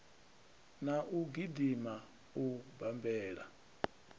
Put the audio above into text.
na u gidima u bammbela